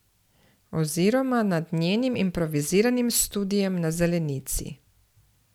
Oziroma nad njenim improviziranim studiem na zelenici.